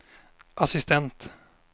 assistent